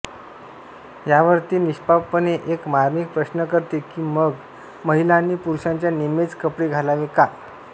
यावर ती निष्पापपणे एक मार्मिक प्रश्न करते की मग महिलांनी पुरुषांच्या निम्मेच कपडे घालावे का